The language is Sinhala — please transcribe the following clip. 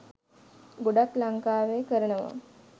ගොඩක් ලංකාවෙ කරනවා.